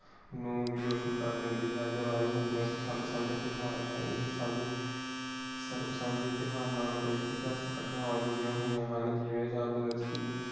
ਨੂੰ ਭੀ ਰੋਸ਼ਨ ਕਰ ਦਿੰਦੀ ਹੈ। ਦੀਵਾਲੀ ਹਿੰਦੂਆਂ ਦਾ ਸਾਂਝਾ ਤਿਯੋਹਾਰ ਹੈ। ਇਹ ਸਾਂਝੇ ਸਰਗ ਸਾਂਝੇ ਤਿਯੋਹਾਰ ਨਾਲ ਕਈ ਇਤਿਹਾਸਿਕ ਘਟਨਾਮਾ ਜੁੜੀਆਂ ਹੋਇਆਂ ਹਨ. ਜਿਵੇਂ